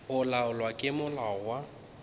go laolwa ke molao wa